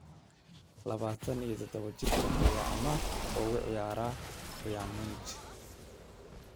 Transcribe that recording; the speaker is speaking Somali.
Labatan iyo tadabo jirkaan ayaa amaah ugu ciyaara Bayern Munich.